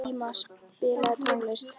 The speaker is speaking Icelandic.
Íma, spilaðu tónlist.